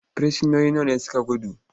frisinoni nawa ne suka gudu?